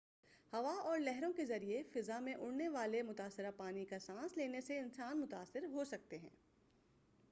ہوا اور لہروں کے ذریعہ فضا میں اڑانے والے متآثرہ پانی کا سانس لینے سے انسان متاثر ہوسکتے ہیں